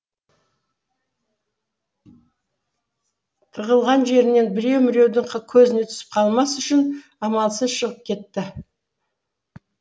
тығылған жерінен біреу міреудің көзіне түсіп қалмас үшін амалсыз шығып кетті